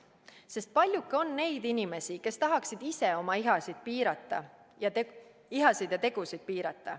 Sest paljuke on neid inimesi, kes tahaksid ise oma ihasid ja tegusid piirata?